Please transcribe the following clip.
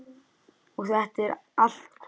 Og þetta er allt komið.